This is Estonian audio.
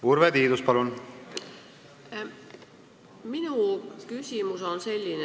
Urve Tiidus, palun!